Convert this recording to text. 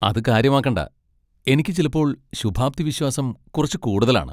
അത് കാര്യമാക്കണ്ട! എനിക്ക് ചിലപ്പോൾ ശുഭാപ്തി വിശ്വാസം കുറച്ച് കൂടുതലാണ്.